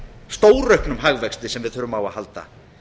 stórauknum hagvexti sem við þurfum á að halda